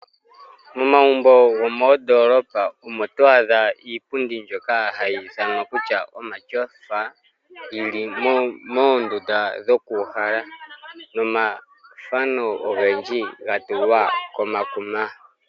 Momagumbo gomoondoolopa omo to adha iipundi mbyoka hayi ithanwa kutya omatyofa, yi li moondunda dhokuuhala nomathano ogendji ga tulwa komakuma.